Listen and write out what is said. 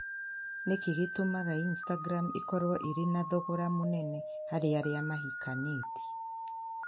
Nĩ kĩĩ gĩtũmaga instagram ĩkorũo ĩrĩ na thogora mũnene harĩ arĩa mahikanĩtie?